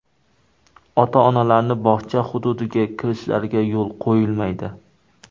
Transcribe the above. Ota-onalarning bog‘cha hududiga kirishlariga yo‘l qo‘yilmaydi.